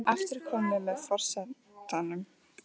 Það er aftur komið að forsetanum.